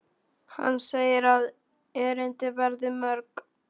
Hann segir að erindin verði mörg.